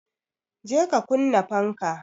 je ka kunna fanka